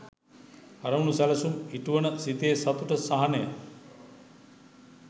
අරමුණු සැලසුම් ඉටුවන සිතේ සතුට සහනය